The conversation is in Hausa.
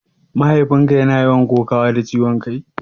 Mahaifin ka yana yawan kokawa da ciwon kai?